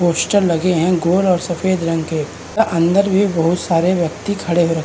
Poster लगे हैं gold और सफेद रंग के और अंदर भी बहुत सारे व्यक्ति खड़े हैं।